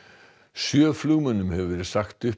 sjö flugmönnum hefur verið sagt upp